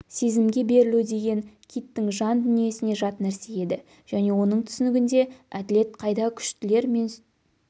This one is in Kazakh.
сезімге берілу деген киттің жан дүниесіне жат нәрсе еді және оның түсінігінде әділет қайда күштілер мен